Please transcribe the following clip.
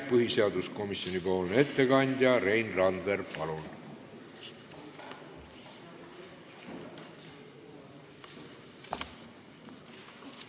Põhiseaduskomisjoni ettekandja Rein Randver, palun!